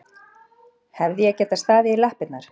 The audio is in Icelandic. Hefði ég getað staðið í lappirnar?